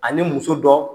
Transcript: Ani muso dɔ